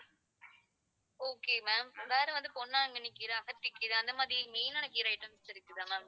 okay ma'am வேற வந்து பொன்னாங்கண்ணிக் கீரை, அகத்திக்கீரை அந்த மாதிரி main ஆன கீரை items இருக்குதா ma'am